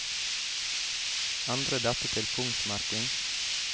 Endre dette til punktmerking